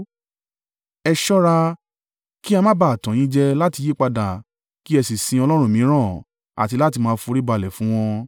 Ẹ ṣọ́ra, kí a má ba à tàn yín jẹ láti yípadà kí ẹ sì sin ọlọ́run mìíràn àti láti máa foríbalẹ̀ fún wọn.